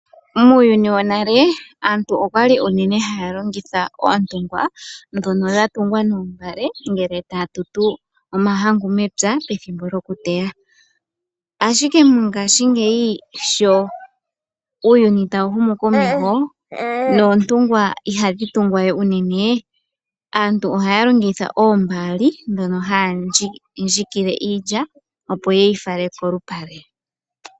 Muuyuni wonale aantu okwali uunene haya longitha oontungwa dhono dhatungwa noombale, ngele taya tutu omahangu mepya pethimbo lyokuteya. Ashike mongashingeyi sho uuyuni tawu humu komeho noontumgwa ihadhi tungwa we uunene. Aantu ohaya longitha oombaali omo haya dhikile iilya opo ye yi fale kolupale.